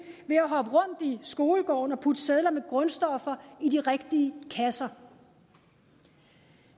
ved at hoppe rundt i skolegården og putte sedler med grundstoffer i de rigtige kasser